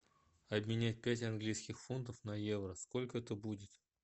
обменять пять английских фунтов на евро сколько это будет